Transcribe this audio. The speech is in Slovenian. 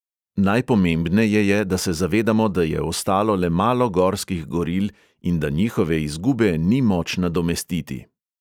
Najpomembneje je, da se zavedamo, da je ostalo le malo gorskih goril in da njihove izgube ni moč nadomestiti.